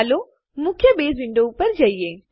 ચાલો મુખ્ય base window ઉપર જઈએ